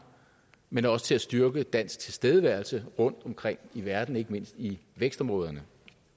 men også til at styrke dansk tilstedeværelse rundtomkring i verden ikke mindst i vækstområderne